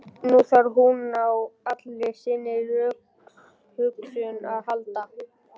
Nú þarf hún á allri sinni rökhugsun að halda.